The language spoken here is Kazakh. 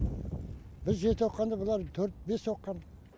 біз жеті оқығанда бұлар төрт бес оқыған